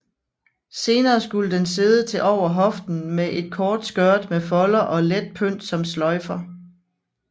Senere skulle den sidde til over hoften med et kort skørt med folder og let pynt som sløjfer